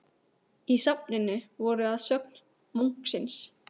Í safninu voru að sögn munksins